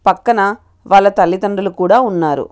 పక్కన వాళ్ళ తల్లి తండ్రులు కూడా ఉన్నారు.